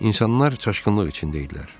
İnsanlar çaşqınlıq içində idilər.